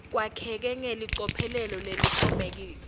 kwakheke ngelicophelo lelincomekako